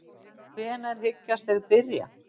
En hvenær hyggjast þeir byrja?